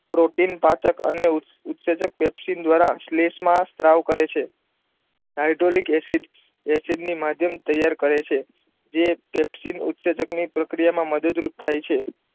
Protein પાચક અને ઉત્તેજક પેપ્સીન દ્વારા સ્લેશમાં સ્ત્રાવ કરે છે હાઇડ્રોલિક એસિડ નું માધ્યમ તૈયાર છે જે પેપ્સીન ઉત્તજેજક ની પ્રક્રિયા માં મદદ રૂપ થાય છે.